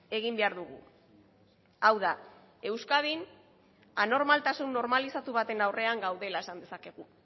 egin behar dugu hau da euskadin anormaltasun normalizatu baten aurrean gaudela esan dezakegu